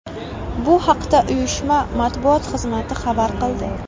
Bu haqda uyushma matbuot xizmati xabar qildi .